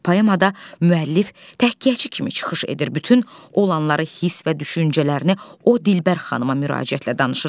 Poemada müəllif təhkiyəçi kimi çıxış edir, bütün olanları hiss və düşüncələrini o dilbər xanıma müraciətlə danışır.